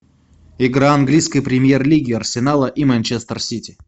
игра английской премьер лиги арсенала и манчестер сити